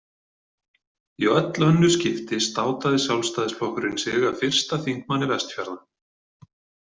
Í öll önnur skipti státaði Sjálfstæðisflokkurinn sig af fyrsta þingmanni Vestfjarða.